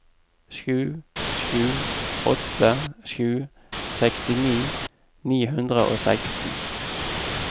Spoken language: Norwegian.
sju sju åtte sju sekstini ni hundre og seksten